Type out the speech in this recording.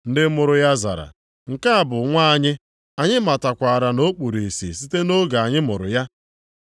Ndị mụrụ ya zara, “nke a bụ nwa anyị. Anyị matakwara na o kpuru ìsì site nʼoge anyị mụrụ ya.